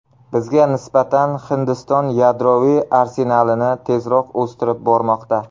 Bizga nisbatan Hindiston yadroviy arsenalini tezroq o‘stirib bormoqda.